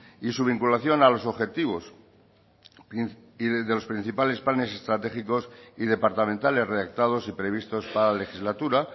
y su vinculación a los objetivos y desde los principales planes estratégicos y departamentales redactados y previstos para la legislatura